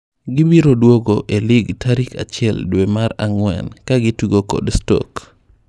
Gibiro duogo e lig tarik achiel dwee mar ang'wen kagitugo kod Stoke.